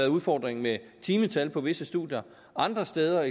udfordring med timetallet på visse studier og andre steder